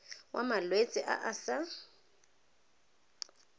wa malwetse a a sa